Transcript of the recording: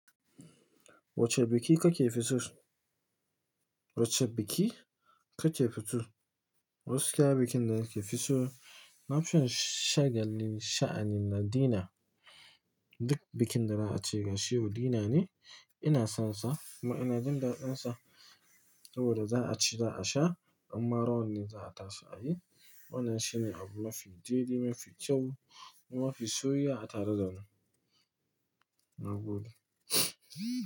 Wacce bikin ka ke fi so? Wacce bikin ka ke fi so? Wasu kayan bikin da ka fi so. Na fi son shagalin sha'anin na dinner. Duk bikin da za a ce gashi ko dinner ne, ina son sa. Amma ina jin daddansa. Saboda za a ci, za a sha in ma rawar ne za a tashi a yi. Wannan shine abu mafi daidai, mafi kyau kuma mafi soyuwa a tare da ni. Na gode.